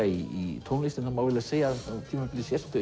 í tónlistinni það má eiginlega segja að á tímabili sértu